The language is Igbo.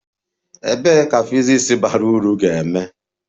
Ebee ka physics bara uru ga-eme?